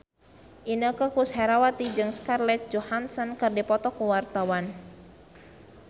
Inneke Koesherawati jeung Scarlett Johansson keur dipoto ku wartawan